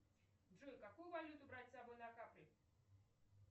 джой какую валюту брать с собой на капри